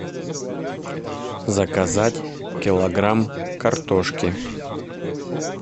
заказать килограмм картошки